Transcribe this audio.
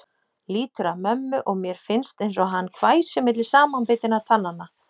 Lýtur að mömmu og mér finnst einsog hann hvæsi milli samanbitinna tannanna.